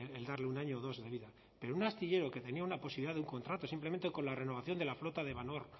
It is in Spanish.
el darle un año o dos de vida pero un astillero que tenía una posibilidad de un contrato simplemente con la renovación de la flota de valor